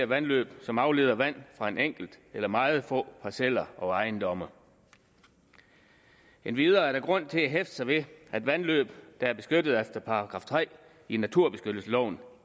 vandløb som afleder vand fra en enkelt eller meget få parceller og ejendomme endvidere er der grund til at hæfte sig ved at vandløb der er beskyttet efter § tre i naturbeskyttelsesloven